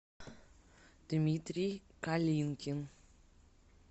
дмитрий калинкин